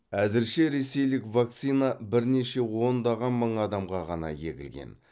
әзірше ресейлік вакцина бірнеше ондаған мың адамға ғана егілген